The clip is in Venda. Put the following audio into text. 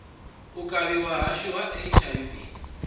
u kavhiwa huswa ha hiv